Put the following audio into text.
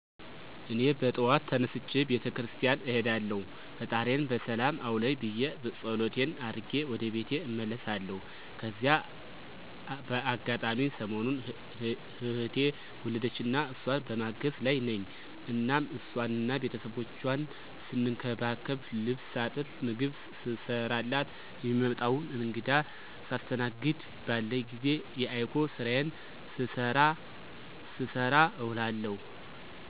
እኔ በጠዋት ተነስቼ ቤተ ክርስቲያን እሄዳለሁ ፈጣሪየን በሰላም አዉለኝ ብየ ፀሎቴን አድርጌ ወደ ቤቴ እመለሳለሁ። ከዚያ በአጋጣሚ ሰሞኑን እህቴ ወለደችና እሷን በማገዝ ላይ ነኝ እናም ሷንና ቤተሰቦቿን ስንከባከብ፣ ልብስ ሳጥብ፣ ምግብ ስሰራላት፣ የሚመጣዉን እንግዳ ሳስተናግድ፣ ባለኝ ጊዜ የiCog ስራየን ስሰራ እዉላለሁ።